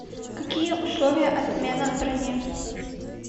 какие условия отмены брони